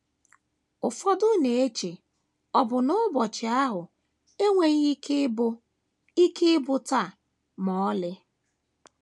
Ụfọdụ na - eche ọbụna na ụbọchị ahụ enweghị ike ịbụ “ ike ịbụ “ taa ” ma ọlị.